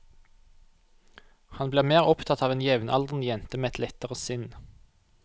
Han blir mer opptatt av en jevnaldrende jente med et lettere sinn.